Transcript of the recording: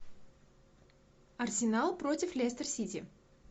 арсенал против лестер сити